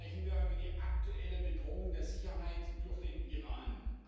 Heute sprechen wir über die aktuelle Bedrohung der Sicherheit durch den Iran.